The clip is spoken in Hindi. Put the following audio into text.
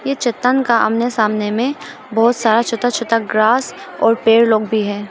ये चट्टान का आमने सामने में बहुत सारा छोटा छोटा ग्रास और पेड़ लोग भी है।